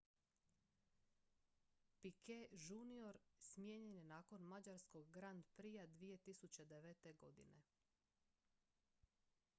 picquet jr smijenjen je nakon mađarskog grand prixa 2009. godine